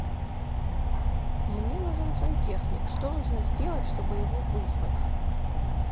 мне нужен сантехник что нужно сделать чтобы его вызвать